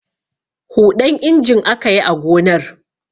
Huɗan injin aka yi a gonar.